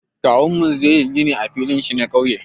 Kawunmu zai yi gini a filin shi na ƙauye.